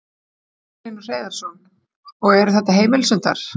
Magnús Hlynur Hreiðarsson: Og eru þetta heimilishundar?